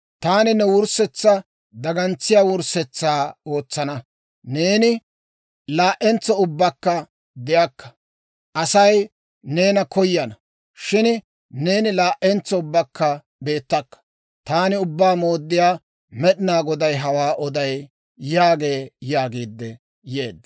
Taani ne wurssetsaa dagantsiyaa wurssetsa ootsana; neeni laa'entso ubbakka de'akka. Asay neena koyana; shin neeni laa"entso ubbakka beettakka. Taani Ubbaa Mooddiyaa Med'inaa Goday hawaa oday› yaagee» yaagiidde yeedda.